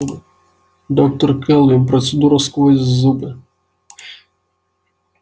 доктор кэлвин процедура сквозь зубы